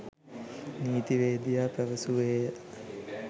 නීතිවේදියා පැවසුවේය